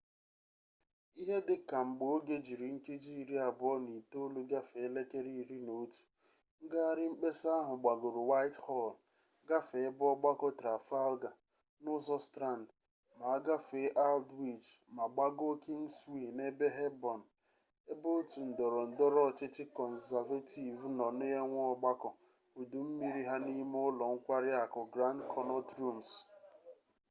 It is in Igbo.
ihe dị ka mgbe oge jiri nkeji iri abụọ na itolu gafee elekere iri na otu ngahari mkpesa ahụ gbagoro whitehall gafee ebe ọgbakọ trafalgar n'ụzọ strand ma a gafee aldwych ma gbagoo kingswee n'ebe hoborn ebe otu ndọrọ ndọrọ ọchịchị kọnzavetiv nọ na-enwe ọgbakọ udu mmiri ha n'ime ụlọ nkwari akụ grand konnọt rums